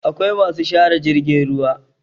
akwai masu share jirgin ruwa